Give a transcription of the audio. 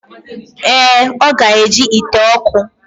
Ee, o ga-eji ite oku.